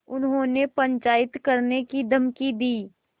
उन्होंने पंचायत करने की धमकी दी